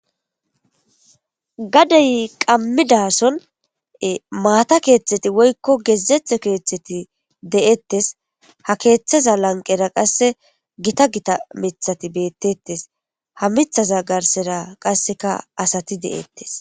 Gadey qammidason maata keeththeti woykko gezethe keeththeti de7ettes ha keeththaza lanqera qasse gita gita mithati beettetes ha mithaza garsera qasseka asati de7ettes.